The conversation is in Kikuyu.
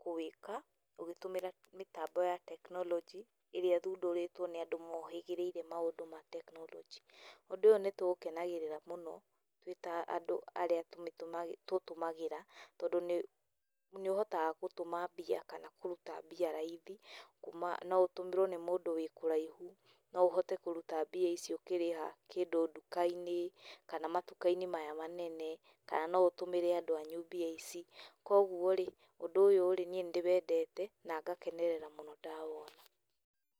kũwĩka ũkĩhũthĩra mĩtambo ya technology, ĩrĩa ĩthũndĩrĩtwo nĩ andũ mohĩgĩrĩire maũndũ ma technology. Ũndũ ũyũ nĩ tũ ũkenagĩrĩra mũno, twĩta andũ arĩa tũmĩtũmagĩra, tũtũmagĩra tondũ nĩ ũhotaga gũtũma mbia kana kũrũta mbia raithi, kũma no ũtũmĩrwo nĩ mũndũ wĩ kũraihũ, no ũhote kũrũta mbia icio ũkĩrĩha kĩndũ ndũka-inĩ kana matĩka-inĩ maya manene, kana no ũtũmĩre andũ anyũ mbia ici, koguo rĩ, ũndũ ũyũrĩ niĩ nĩ ndĩwendete na ngakenerera mũno niĩ ndawona.